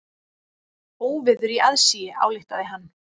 Óveður í aðsigi, ályktaði hann.